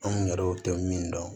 Anw yɛrɛw tɛ min dɔn